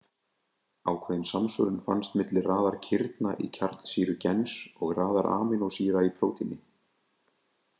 Ákveðin samsvörun fannst milli raðar kirna í kjarnsýru gens og raðar amínósýra í prótíni.